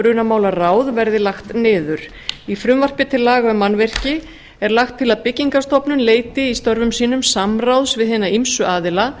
brunamálaráð verði lagt niður í frumvarpi til laga um mannvirki er lagt til að byggingarstofnun leiti í störfum sinna samráðs við hina ýmsu aðila